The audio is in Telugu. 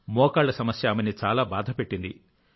మోకాళ్ల సమస్య ఆమెని చాలా బాధపెట్టింది